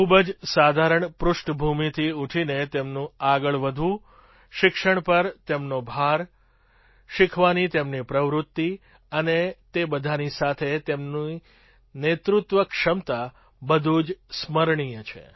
ખૂબ જ સાધારણ પૃષ્ઠભૂમિથી ઊઠીને તેમનું આગળ વધવું શિક્ષણ પર તેમનો ભાર શીખવાની તેમની પ્રવૃત્તિ અને તે બધાની સાથે તેમની નેતૃત્વ ક્ષમતા બધું જ સ્મરણીય છે